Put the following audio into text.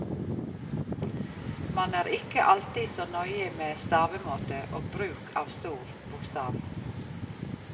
Man er ikke alltid så nøye med stavemåte og bruk av stor bokstav.